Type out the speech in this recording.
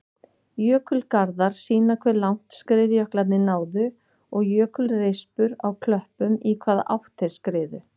Jökulgarðar sýna hve langt skriðjöklarnir náðu og jökulrispur á klöppum í hvaða átt þeir skriðu.